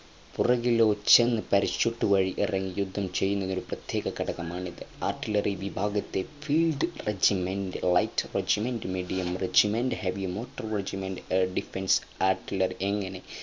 യുദ്ധവിമാനങ്ങളിൽ ചെന്ന് parachute വഴി ഇറങ്ങി യുദ്ധം ചെയ്യുന്നതിനുള്ള ഒരു പ്രത്യേക ഘടകമാണിത്